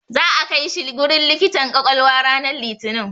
Za'a kai shi wurin likitan ƙwaƙwalwa ranar Litinin.